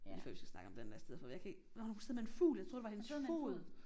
Det lige før vi skal snakke om den næste for jeg kan ikke nåh hun sidder med en fugl jeg troede det var hendes fod